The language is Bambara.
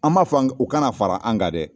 An m'a fɔ u ka na ka fara an kan dɛ